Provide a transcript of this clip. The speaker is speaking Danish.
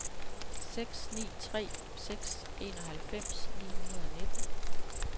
seks ni tre seks enoghalvfems ni hundrede og nitten